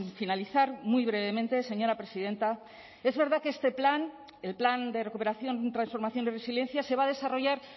finalizar muy brevemente señora presidenta es verdad que este plan el plan de recuperación transformación y resiliencia se va a desarrollar